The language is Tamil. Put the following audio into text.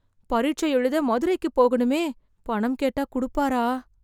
பரிட்சை எழுத மதுரைக்கு போகணுமே... பணம் கேட்டா குடுப்பாரா...